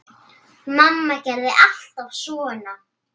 Mamma gerði þetta alltaf svona.